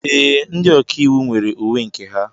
Ee, ndị ọkà íwú nwere uwe nke ha.